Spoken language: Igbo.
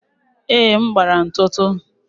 Èé, m gbara ntụtụ